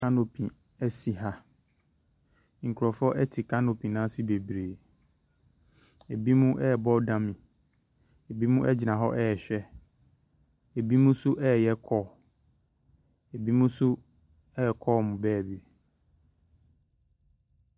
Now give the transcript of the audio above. Canopy si ha, nkurɔfoɔ te canopy n’ase bebree, binom ɛrebɔ dam, binom gyina hɔ ɛrehwɛ, binom nso ɛreyɛ call, binom nso ɛrekɔ wɔn beebi.